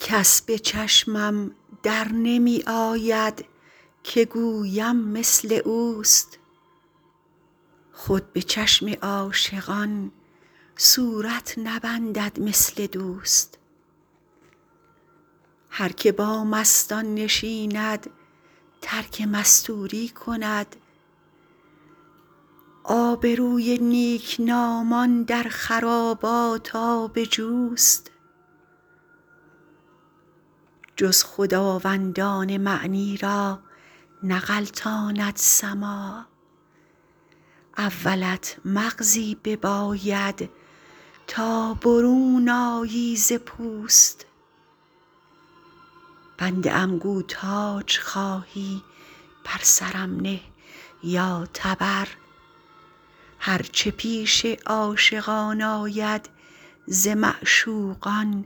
کس به چشمم در نمی آید که گویم مثل اوست خود به چشم عاشقان صورت نبندد مثل دوست هر که با مستان نشیند ترک مستوری کند آبروی نیکنامان در خرابات آب جوست جز خداوندان معنی را نغلطاند سماع اولت مغزی بباید تا برون آیی ز پوست بنده ام گو تاج خواهی بر سرم نه یا تبر هر چه پیش عاشقان آید ز معشوقان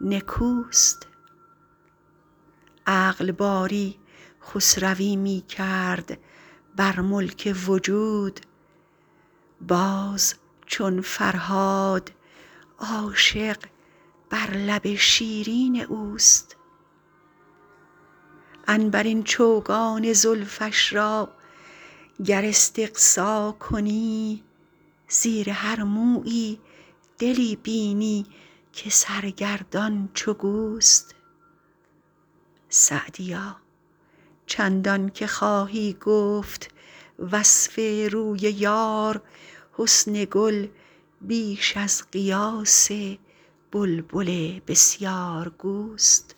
نکوست عقل باری خسروی می کرد بر ملک وجود باز چون فرهاد عاشق بر لب شیرین اوست عنبرین چوگان زلفش را گر استقصا کنی زیر هر مویی دلی بینی که سرگردان چو گوست سعدیا چندان که خواهی گفت وصف روی یار حسن گل بیش از قیاس بلبل بسیارگوست